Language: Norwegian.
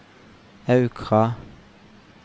Aukra